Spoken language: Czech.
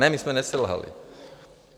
Ne, my jsme neselhali.